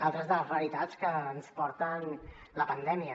altres de les realitats que ens porta la pandèmia